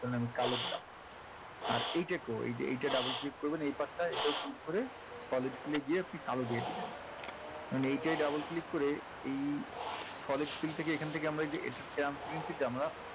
ধরেন আমি কালো দিলাম আর এইটাকেও এই যে এইটা double click করবেন এই পাশটায় এটাও click করে solid fill এ গিয়ে আপনি কালো দিয়ে দিলেন এইটায় double click করে এই solid fill থেকে এখান থেকে আমরা এই যে এটার transparency টা আমরা